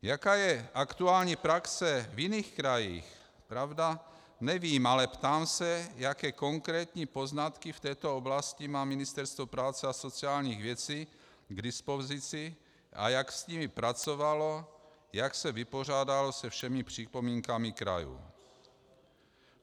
Jaká je aktuální praxe v jiných krajích, pravda, nevím, ale ptám se, jaké konkrétní poznatky v této oblasti má Ministerstvo práce a sociálních věcí k dispozici a jak s nimi pracovalo, jak se vypořádalo se všemi připomínkami krajů.